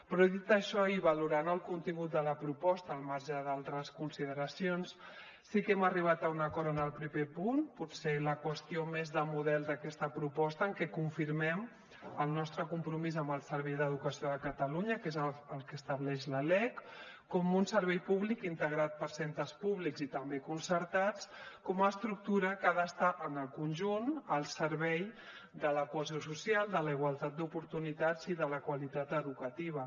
però dit això i valorant el contingut de la proposta al marge d’altres consideracions sí que hem arribat a un acord en el primer punt potser la qüestió més de model d’aquesta proposta en què confirmem el nostre compromís amb el servei d’educació de catalunya que és el que estableix la lec com un servei públic integrat per centres públics i també concertats com a estructura que ha d’estar en el conjunt al servei de la cohesió social de la igualtat d’oportunitats i de la qualitat educativa